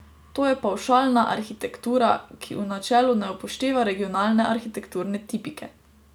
To je pavšalna arhitektura, ki v načelu ne upošteva regionalne arhitekturne tipike.